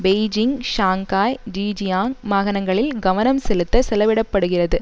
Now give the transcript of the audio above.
Beijing Shanghai Zhejiang மாகாணங்களில் கவனம் செலுத்தச் செலவிட படுகிறது